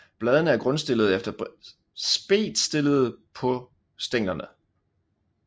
Bladene er grundstillede eller spedtstillede på stænglerne